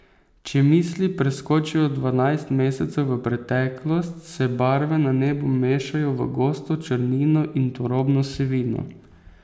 Če misli preskočijo dvanajst mesecev v preteklost, se barve na nebu mešajo v gosto črnino in turobno sivino.